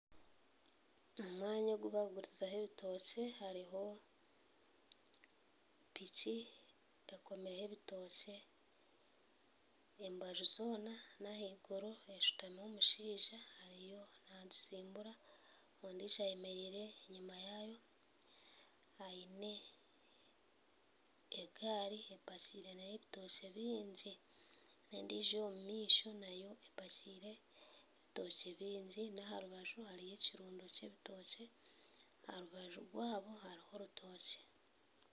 Omwanya ogu bakugurizaho ebitookye hariho piki ekomireho ebitookye embaju zoona n'ahaiguru, eshutamiho omushaija ariyo naagisimbura ondijo ayemereire enyima yaayo aine egaari epakiire nayo ebitookye bingi n'endijo ey'omumaisho nayo epakiire ebitookye bingi n'aha rubaju hariho ekirundo ky'ebitookye, aha rubaju rwabo hariho orutookye.